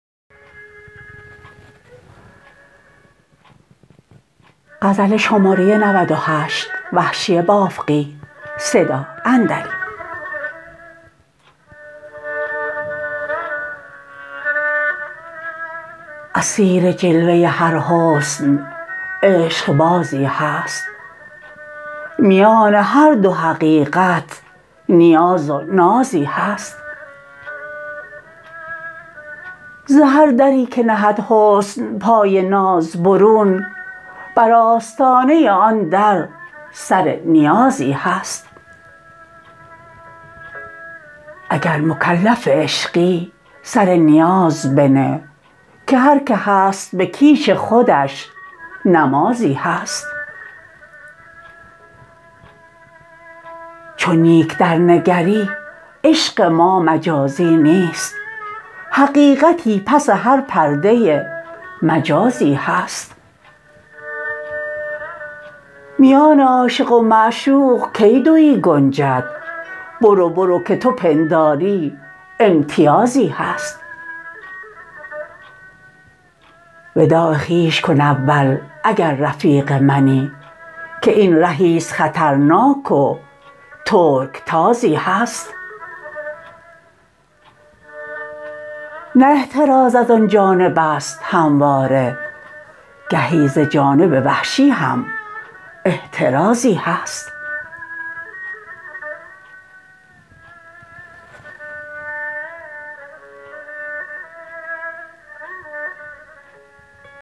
اسیر جلوه هر حسن عشقبازی هست میان هر دو حقیقت نیاز و نازی هست ز هر دری که نهد حسن پای ناز برون بر آستانه آن در سر نیازی هست اگر مکلف عشقی سر نیاز بنه که هر که هست به کیش خودش نمازی هست چو نیک درنگری عشق ما مجازی نیست حقیقتی پس هر پرده مجازی هست میان عاشق و معشوق کی دویی گنجد برو برو که تو پنداری امتیازی هست وداع خویش کن اول اگر رفیق منی که این رهیست خطرناک و ترکتازی هست نه احتراز از آن جانب است همواره گهی ز جانب وحشی هم احترازی هست